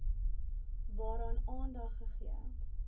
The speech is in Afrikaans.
waaraan aandag gegee